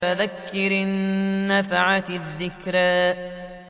فَذَكِّرْ إِن نَّفَعَتِ الذِّكْرَىٰ